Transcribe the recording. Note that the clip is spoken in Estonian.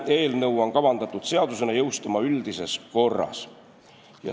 Eelnõu on kavandatud seadusena jõustuma üldises korras.